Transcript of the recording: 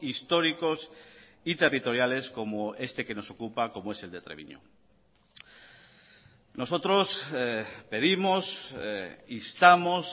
históricos y territoriales como este que nos ocupa como es el de treviño nosotros pedimos instamos